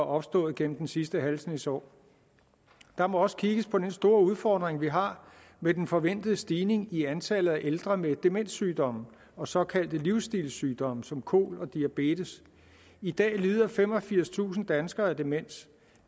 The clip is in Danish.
opstået igennem den sidste halve snes år der må også kigges på den store udfordring vi har med den forventede stigning i antallet af ældre med demenssygdomme og såkaldte livstilssygdomme som kol og diabetes i dag lider femogfirstusind danskere af demens